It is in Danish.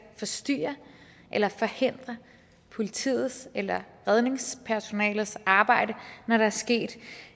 forstyrre eller forhindre politiets eller redningspersonalets arbejde når der er sket